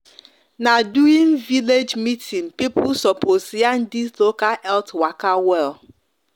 na during village meeting people sopos yarn this local health waka well